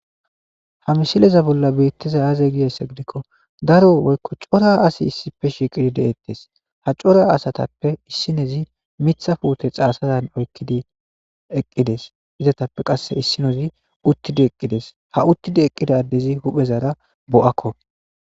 ha mishileza bolla beettiza aaze giyayssa gidikko daro woykko cora asi issipfe shiiqidi de7ettes ha cora asatappe issinezi mitha puute xaasazan oykkidi eqqides izatappe qasse issinozi uttidi eqqides ha uttidi eqqida addezi huphezara bo7akko